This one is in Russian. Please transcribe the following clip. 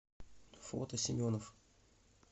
фото семенов